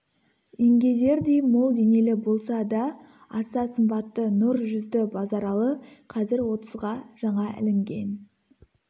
еңгезердей мол денелі болса да аса сымбатты нұр жүзді базаралы қазір отызға жаңа ілінген